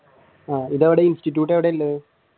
ആഹ് ഇതെവിടെ institute എവിടെയുണ്ട്?